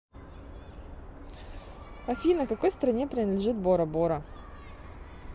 афина какой стране принадлежит борабора